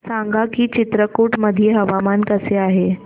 सांगा की चित्रकूट मध्ये हवामान कसे आहे